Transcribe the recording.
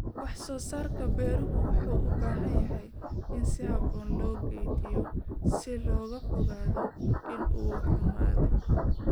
Wax-soo-saarka beeruhu wuxuu u baahan yahay in si habboon loo kaydiyo si looga fogaado in uu xumaado.